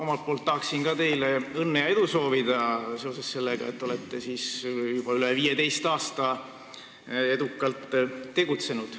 Ma soovin ka teile õnne ja edu seoses sellega, et olete juba üle 15 aasta edukalt tegutsenud.